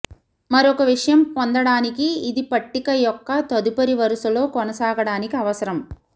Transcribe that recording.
మరొక విషయం పొందటానికి ఇది పట్టిక యొక్క తదుపరి వరుసలో కొనసాగడానికి అవసరం